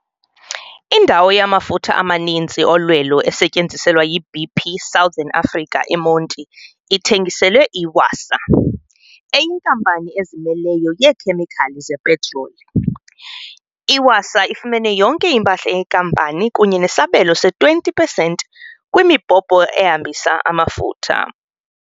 Indawo yamafutha amaninzi olwelo esetyenziswa yi-BP Southern Africa eMonti ithe ngiselwe i-Wasaa, eyinkampani ezimeleyo yeekhemikhali zepetroli. I-Wasaa ifumene yonke impahla yenkampani kunye nesabelo se-20 pesenti kwimibhobho ehambisa amafutha.